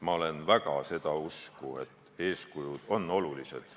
Ma olen väga seda usku, et eeskujud on olulised.